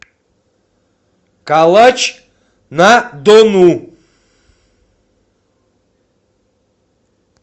калач на дону